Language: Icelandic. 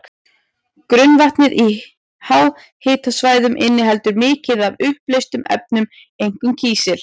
Grunnvatnið í háhitasvæðunum inniheldur mikið af uppleystum efnum, einkum kísil.